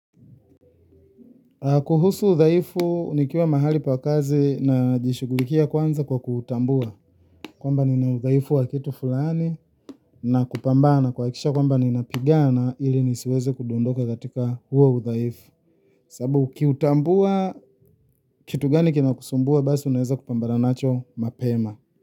Kuhusu uthaifu, nikiwa mahali pa kazi na jishugulikia kwanza kwa kuutambua. Kwamba nina udhaifu wa kitu fulani na kupambana kuhakikisha kwamba ninapigana ili nisiweze kudondoka katika huo udhaifu. Sababu ukiutambua, kitu gani kinakusumbua basi unaeza kupambana nacho mapema.